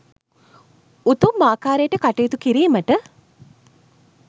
උතුම් ආකාරයට කටයුතු කිරීමට